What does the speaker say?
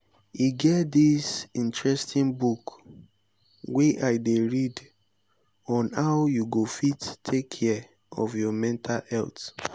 e get get dis interesting book wey i dey read on how you go fit take care of your mental health